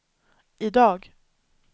idag